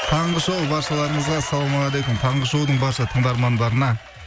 таңғы шоу баршаларыңызға ассаламағалейкум таңғы шоудың барша тыңдармандарына